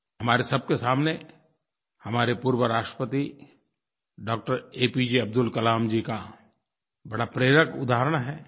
हमारे सबके सामने हमारे पूर्व राष्ट्रपति डॉ एपीजे अब्दुल कलाम जी का बड़ा प्रेरक उदाहरण है